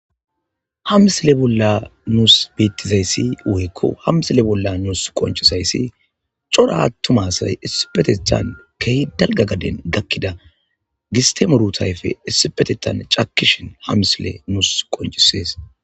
Ha misile bolla nuus beettizayssi woykko hamsile bolla nuus qonchisayssi cora attumasay issipetethan kehi dalga gaden gakkida gistemurutayfe issipetetan cakishin ha misile nus qoncisees